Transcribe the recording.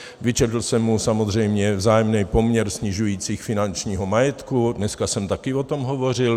Vyčetl jsem mu samozřejmě vzájemný poměr snižující finančního majetku - dneska jsem také o tom hovořil.